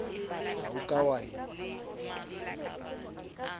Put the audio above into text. ha o ka wa e